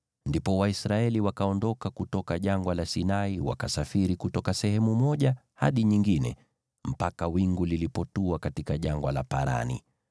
Ndipo Waisraeli wakaondoka kutoka Jangwa la Sinai wakasafiri kutoka sehemu moja hadi nyingine mpaka wingu lilipotua katika Jangwa la Parani.